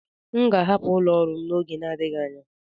M ga-ahapụ ụlọ ọrụ n'oge na-adịghị anya.